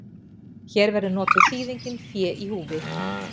Hér verður notuð þýðingin fé í húfi.